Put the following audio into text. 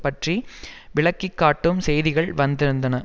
பற்றி விளக்கி காட்டும் செய்திகள் வந்திருந்தன